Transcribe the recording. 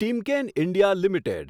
Timken India limited